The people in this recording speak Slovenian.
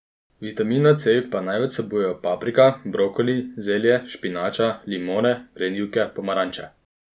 Vitamina C pa največ vsebujejo paprika, brokoli, zelje, špinača, limone, grenivke, pomaranče.